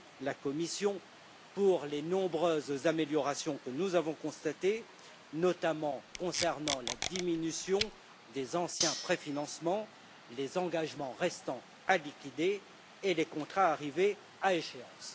la Commission pour les nombreuses améliorations que nous avons constatées, notamment concernant la diminution des anciens préfinancements, des engagements restant à liquider et des contrats arrivés à échéance.